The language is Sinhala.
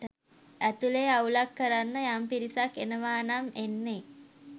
ඇතුලේ අවුලක් කරන්න යම් පිරිසක් එනවා නම් එන්නේ